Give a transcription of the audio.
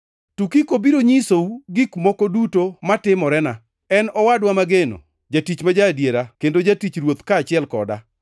Tukiko biro nyisou gik moko duto matimorena. En owadwa mageno, jatich ma ja-adiera kendo jatich Ruoth kaachiel koda.